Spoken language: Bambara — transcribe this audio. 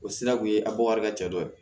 O sira kun ye a bɔ wari ka ca dɔ ye